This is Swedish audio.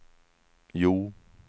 Hjo